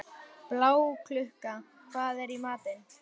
Bláklukka, hvað er í matinn?